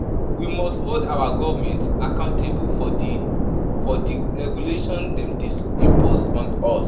We must hold our government accountable for di for di regulations dem dey impose on us.